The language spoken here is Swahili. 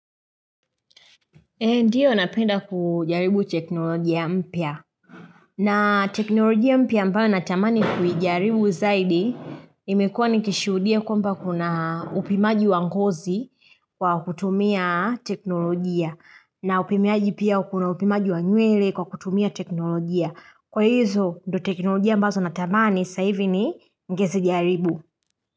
Ndiyo napenda ku jaribu teknolojia mpya. Na teknolojia mpya ambayo natamani kuijaribu zaidi imekuwa nikishuhudia kwamba kuna upimaji wa ngozi kwa kutumia teknolojia. Na upimiaji pia kuna upimaji wa nywele kwa kutumia teknolojia. Kwa hizo ndo teknolojia ambazo natamani saa ivi ni ngezi jaribu.